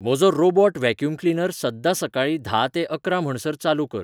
म्हजो robot vacuum cleaner सद्दां सकाळीं धा ते अकराम्हणसर चालू कर